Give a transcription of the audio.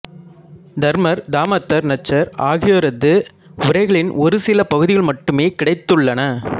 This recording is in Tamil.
தருமர் தாமத்தர் நச்சர் ஆகியோரது உரைகளின் ஒரு சில பகுதிகள் மட்டுமே கிடைத்துள்ளன